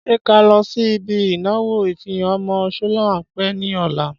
Ṣé ká lọ sí ibi ìnáwó ìfihàn ọmọ sholape ní ọ̀la?